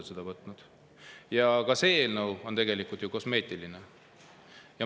Ka see eelnõu on tegelikult ju kosmeetiline.